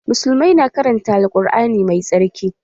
Musullmai na karanta Al Kur'ani mai tsarki